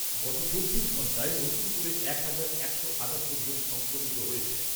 গত চব্বিশ ঘণ্টায় নতুন করে এক হাজার একশো আটাত্তর জন সংক্রমিত হয়েছেন।